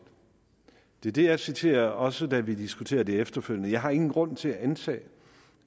det er det jeg citerer også da vi diskuterede det efterfølgende jeg har ingen grund til at antage